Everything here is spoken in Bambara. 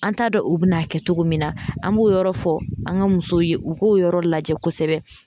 An t'a dɔn u bɛ n'a kɛ cogo min na an b'o yɔrɔ fɔ an ka musow ye u k'o yɔrɔ lajɛ kosɛbɛ